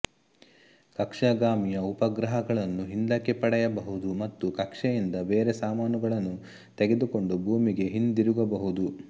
ಕಕ್ಷಾಗಾಮಿಯು ಉಪಗ್ರಹಗಳನ್ನು ಹಿಂದಕ್ಕೆ ಪಡೆಯಬಹುದು ಮತ್ತು ಕಕ್ಷೆಯಿಂದ ಬೇರೆ ಸಾಮಾನುಗಳನ್ನು ತೆಗೆದುಕೊಂಡು ಭೂಮಿಗೆ ಹಿಂದಿರುಗಬಹುದು